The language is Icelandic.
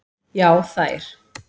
Já þær.